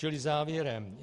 Čili závěrem.